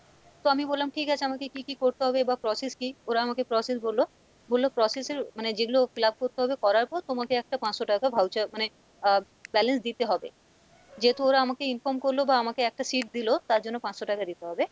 তো আমি বললাম ঠিক আছে আমাকে কী কী করতে হবে বা process কী ওরা আমাকে process বললো, বললো process এর, মানে যেগুলো fill up করতে হবে করার পর তোমাকে একটা পাঁচশো টাকা voucher মানে আহ balance দিতে হবে, যেহেতু ওরা আমাকে inform করলো বা আমাকে একটা seat দিলো তার জন্য পাঁচশো টাকা দিতে হবে,